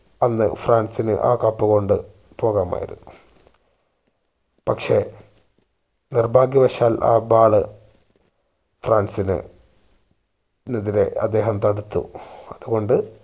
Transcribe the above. അന്ന് ഫ്രാൻസിന് ആ cup കൊണ്ട് പോകാമായിരുന്നു പക്ഷെ നിർഭാഗ്യവശാൽ ആ ball ഫ്രാൻസിന് എതിരെ അദ്ദേഹം തടുത്തു അതുകൊണ്ട്